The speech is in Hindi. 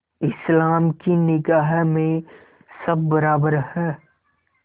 इस्लाम की निगाह में सब बराबर हैं